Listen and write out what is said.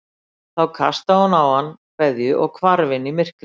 Þá kastaði hún á hann kveðju og hvarf inn í myrkrið.